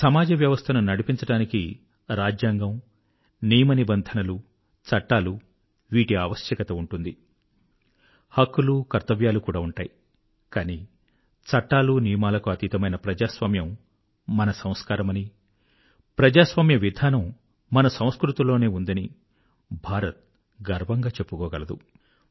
సమాజవ్యవస్థను నడిపించడానికి రాజ్యాంగం నియమనిబంధనలు చట్టాలు వీటి ఆవశ్యకత ఉంటుంది హక్కులు కర్తవ్యాలు కూడా ఉంటాయి కానీ చట్టాలు నియమాలకు అతీతమైన ప్రజాస్వామ్యం మన సంస్కారమని ప్రజాస్వామ్య విధానం మన సంస్కృతిలోనే ఉందని భారత్ గర్వంగా చెప్పుకోగలదు